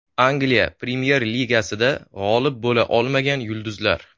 Angliya Premyer Ligasida g‘olib bo‘la olmagan yulduzlar .